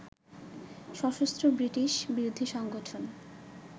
সশস্ত্র ব্রিটিশ বিরোধী সংগঠন